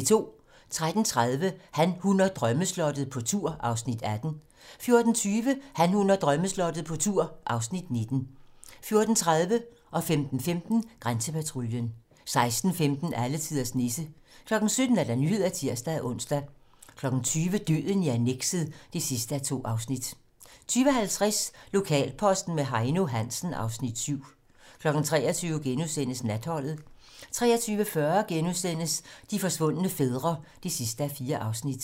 13:30: Han, hun og drømmeslottet - på tur (Afs. 18) 14:20: Han, hun og drømmeslottet - på tur (Afs. 19) 14:30: Grænsepatruljen 15:15: Grænsepatruljen 16:15: Alletiders Nisse 17:00: Nyhederne (tir-ons) 20:00: Døden i annekset (2:2) 20:50: Lokalposten med Heino Hansen (Afs. 7) 23:00: Natholdet * 23:40: De forsvundne fædre (4:4)*